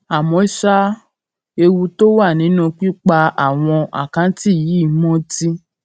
àmó ṣá o ewu tó wà nínú pípa àwọn àkáǹtì yìí mó ti